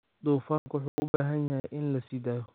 Dufanku wuxuu u baahan yahay in la sii daayo.